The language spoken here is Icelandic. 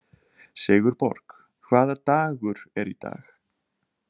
Sigurborg, hvaða dagur er í dag?